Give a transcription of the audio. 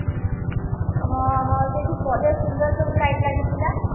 ହଁ ହଁ ସେଇଠି ବଢିଆ ସୁନ୍ଦର ସବୁ light ଲାଗିଥିଲା